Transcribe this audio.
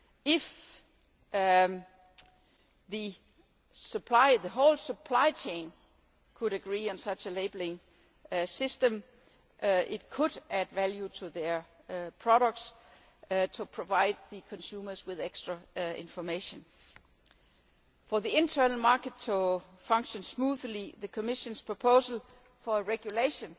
If the whole supply chain could agree on such a labelling system, it could add value to their products to provide consumers with extra information. For the internal market to function smoothly, the Commission's proposal for a regulation